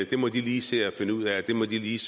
det må de lige se at finde ud af og det må de lige